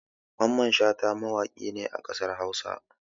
Mamman Shata mawaƙi ne a ƙasar Hausa.